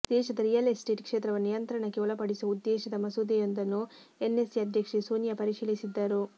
ದೇಶದ real estate ಕ್ಷೇತ್ರವನ್ನು ನಿಯಂತ್ರಣಕ್ಕೆ ಒಳಪಡಿಸುವ ಉದ್ದೇಶದ ಮಸೂದೆಯೊಂದನ್ನು ಎನ್ಎಸಿ ಅಧ್ಯಕ್ಷೆ ಸೋನಿಯಾ ಪರಿಶೀಲಿಸಿದ್ದರು